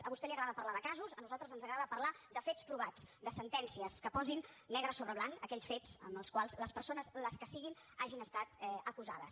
a vostè li agrada parlar de casos a nosaltres ens agrada parlar de fets provats de sentències que posin negre sobre blanc aquells fets en els quals les persones les que siguin hagin estat acusades